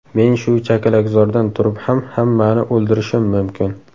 Men shu chakalakzordan turib ham hammani o‘ldirishim mumkin .